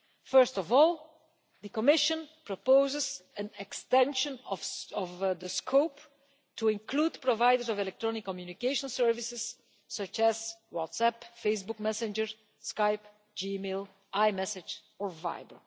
First of all, the Commission proposes an extension of the scope to include providers of electronic communication services such as WhatsApp, Facebook Messenger, Skype, Gmail, iMessage and Viber.